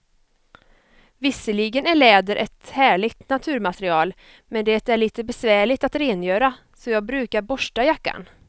Visserligen är läder ett härligt naturmaterial, men det är lite besvärligt att rengöra, så jag brukar borsta jackan.